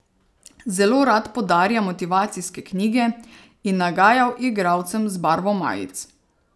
Zelo rad podarja motivacijske knjige in nagajal igralcem z barvo majic.